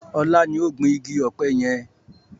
Ọlá ni ó gbin igi ọpẹ yẹn